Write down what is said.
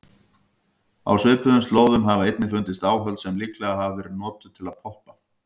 Á svipuðum slóðum hafa einnig fundist áhöld sem líklega hafa verið notuð til að poppa.